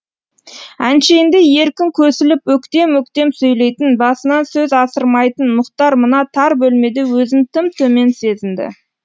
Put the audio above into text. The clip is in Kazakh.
әншейінде еркін көсіліп өктем өктем сөйлейтін басынан сөз асырмайтын мұхтар мына тар бөлмеде өзін тым төмен сезінді